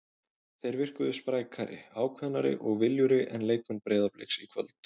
Þeir virkuðu sprækari, ákveðnari og viljugri en leikmenn Breiðabliks í kvöld.